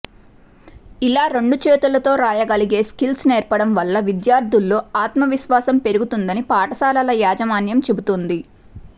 ఇలా రెండు చేతులతో రాయగలిగే స్కిల్స్ నేర్పడం వల్ల విద్యార్థుల్లో ఆత్మ విశ్వాసం పెరుగుతుందని పాఠశాలల యాజమాన్యం చెబుతోంది